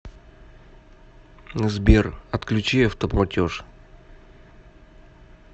сбер отключи автоплатеж